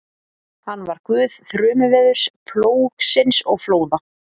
Hann var guð þrumuveðurs, plógsins og flóða.